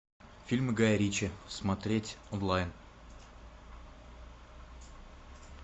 фильмы гая ричи смотреть онлайн